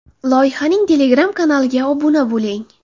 Loyihaning Telegram kanaliga obuna bo‘ling.